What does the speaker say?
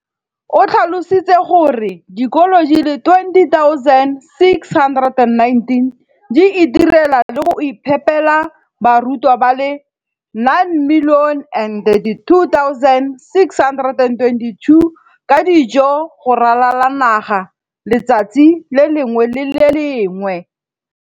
o tlhalositse gore dikolo di le 20 619 di itirela le go iphepela barutwana ba le 9 032 622 ka dijo go ralala naga letsatsi le lengwe le le lengwe.